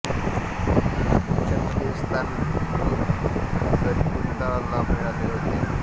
पुरुषांमध्ये हे स्थान भिक्खू सरिपुत्ता ला मिळाले होते